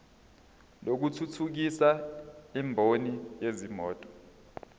lokuthuthukisa imboni yezimoto